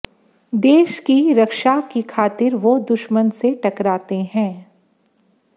देश की रक्षा के खातिर वो दुश्मन से टकराते है